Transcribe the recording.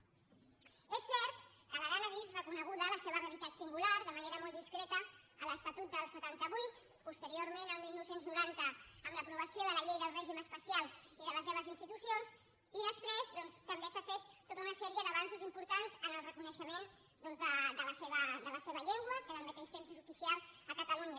és cert que l’aran ha vist reconeguda la seva realitat singular de manera molt discreta a l’estatut del setanta vuit posteriorment el dinou noranta amb l’aprovació de la llei del règim especial i de les seves institucions i després doncs també s’ha fet tota una sèrie d’avanços importants en el reconeixement de la seva llengua que al mateix temps és oficial a catalunya